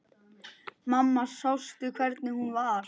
Mamma sástu hvernig hún var?